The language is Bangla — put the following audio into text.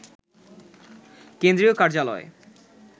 কেন্দ্রীয় কার্যালয়ে